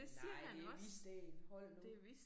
Nej det Hvidsten hold nu